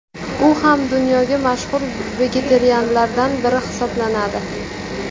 U ham dunyoga mashhur vegetarianlardan biri hisoblanadi.